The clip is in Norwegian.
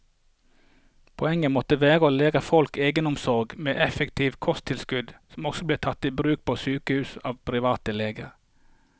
Poenget måtte være å lære folk egenomsorg med effektive kosttilskudd, som også ble tatt i bruk på sykehus og av private leger.